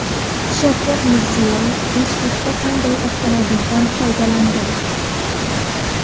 Shavkat Mirziyoyev Bishkekda qanday avtomobildan foydalandi?